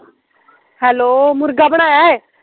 hello ਮੁਰਗਾ ਬਣਾਇਆ ਐ